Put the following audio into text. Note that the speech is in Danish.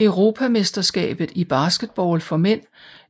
Europamesterskabet i basketball for mænd